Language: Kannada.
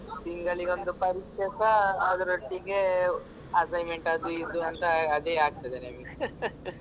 ತಿಂಗಳಿಗೊಂದು ಪರೀಕ್ಷೆಸ ಅದರೊಟ್ಟಿಗೆ assignment ಅದು ಇದು ಅಂತ ಅದೇ ಆಗ್ತದೆ ನಮ್ಗೆ